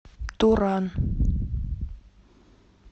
туран